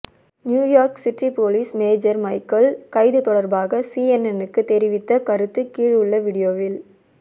New York city police major Michael கைது தொடர்பாக CNN க்கு தெரிவித்த கருத்து கிழுள்ள வீடியோவில்